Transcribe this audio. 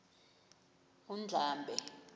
undlambe